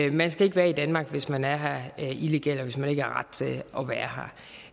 i man skal ikke være i danmark hvis man er her illegalt og hvis man ikke har ret til at være